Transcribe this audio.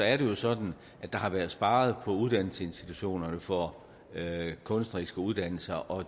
er det jo sådan at der har været sparet på uddannelsesinstitutionerne for kunstneriske uddannelser og